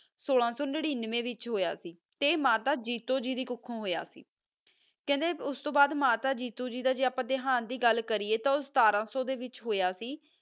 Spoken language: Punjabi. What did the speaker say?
ਸੋਲਾ ਸੋ ਨਾਰ੍ਨਾਵਾ ਵਿਤਚ ਏਹਾ ਮਾਤਾ ਜੀਤੋ ਗੀ ਦੀ ਕੋਖੋ ਹੋਆ ਕੀ ਖਾਂਦਾ ਸੀ ਹ ਸ ਤੋ ਬਾਦ ਮਾਤਾ ਜੀਤੋ ਗੀ ਦਾ ਦਹੰਤ ਹੀ ਹੋ ਗਯਾ ਸੀ ਹ ਗਾ ਗਲ ਕਰਿਆ ਤਾ ਓਹੋ ਸਤਰ ਸੋ ਚ ਹੀ ਹੋਇਆ ਸੀ ਗਾ